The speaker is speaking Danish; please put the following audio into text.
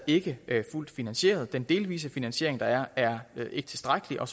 ikke fuldt finansieret og den delvise finansiering der er er ikke tilstrækkelig og